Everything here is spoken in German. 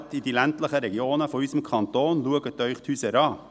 Fahrt in die ländlichen Regionen unseres Kantons und schaut euch die Häuser an.